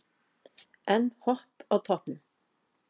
Enn Hopp á toppnum